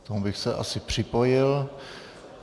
K tomu bych se asi připojil.